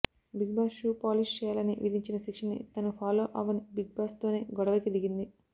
big boss shoe polish చేయాలని విధించిన శిక్షని తను ఫాలో అవ్వనని బిగ్ బాస్ తోనే గొడవకి దిగింది